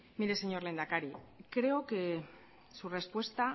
mire señor lehendakari creo que su respuesta